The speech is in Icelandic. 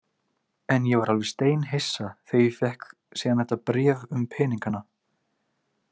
En ég var alveg steinhissa þegar ég fékk síðan þetta bréf um peningana.